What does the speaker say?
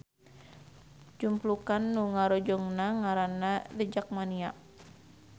Jumplukan nu ngarojongna ngaranna The Jakmania.